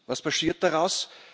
Was passiert daraus?